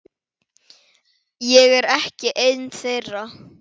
Ég er ekki ein þeirra.